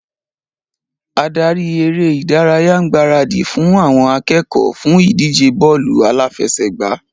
Adarí eré ìdárayá ń gbaradì fún àwọn akẹ́kọ̀ọ́ fún ìdíje bọ́ọ́lù aláfẹsẹ̀gbá.